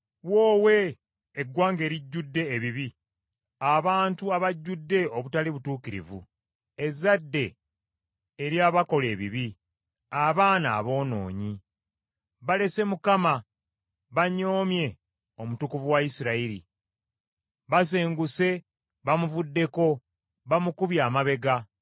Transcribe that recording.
Woowe! Eggwanga erijjudde ebibi, abantu abajjudde obutali butuukirivu, ezzadde eryabakola ebibi, abaana aboonoonyi! Balese Mukama banyoomye Omutukuvu wa Isirayiri, basenguse bamuvuddeko bamukubye amabega.